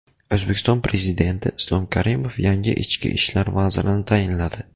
O‘zbekiston Prezidenti Islom Karimov yangi ichki ishlar vazirini tayinladi.